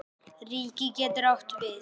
Ríki getur átt við